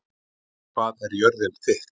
Hvað er jörðin þykk?